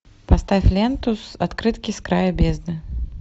поставь ленту открытки с края бездны